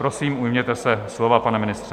Prosím, ujměte se slova, pane ministře.